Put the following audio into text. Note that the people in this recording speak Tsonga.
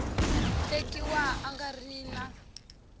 tekiwa a nga ri na